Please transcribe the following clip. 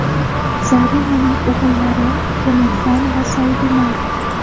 Zarinaning o‘g‘illari Temurxon va Saidumar.